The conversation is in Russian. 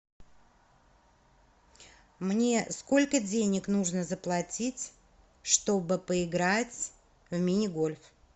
мне сколько денег нужно заплатить чтобы поиграть в мини гольф